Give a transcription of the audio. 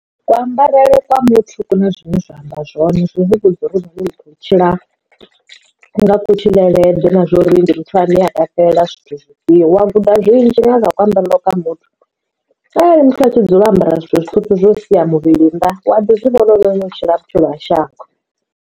Ku ambarele kwa muthu ku na zwine zwa amba zwone zwi ḓi tou bva kha uri u tshila nga ku tshilele ḓe na zwori ndi muthu ane a fhelela zwithu zwifhio wa guda zwinzhi nga ku ambarele kwa muthu arali muthu a tshi dzula o ambara zwithu zwpfhufhi zwo sia muvhili nnḓa u wa ḓi zwivhona uri u tshila vhutshilo ha shango.